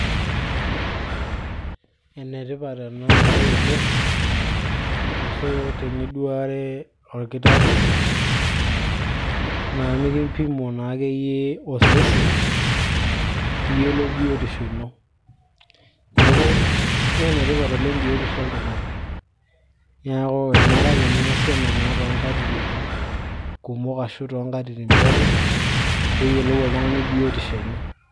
enetipat ena baye oleng ashu teniduare orkitarri naa mikimpimo naa akeyie osesen piiyiolou biotisho ino niaku nee enetipat oleng biotisho oltung'ani niaku enare ake niasi ena naa toonkatitin kumok ashu toonkatitin pookin peeyiolou oltung'ani biotisho enye.